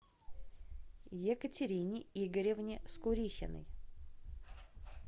екатерине игоревне скурихиной